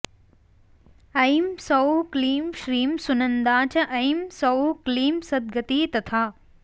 ऐं सौः क्लीं श्रीं सुनन्दा च ऐं सौः क्लीं सद्गतिः तथा